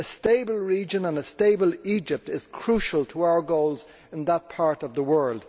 A stable region and a stable Egypt is crucial to our goals in that part of the world.